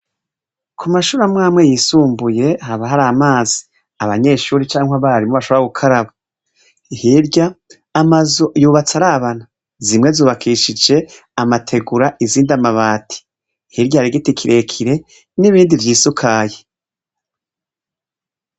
Ku mashure amwe amwe yisumbuye, haba hari amazi, abanyeshure canke abarimu bashobora gukaraba. Hirya, amazu yubatse arabana. Zimwe zubakishije amategura, izindi amabati. Hirya hari igiti kirekire, n'ibindi vyisukaye.